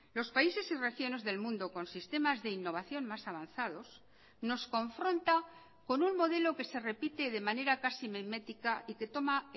los países y regiones del mundo con sistemas de innovación más avanzados nos confronta con un modelo que se repite de manera casi mimética y que toma